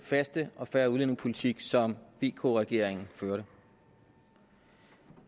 faste og fair udlændingepolitik som vk regeringen førte